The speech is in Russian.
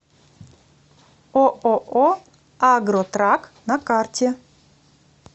ооо агротрак на карте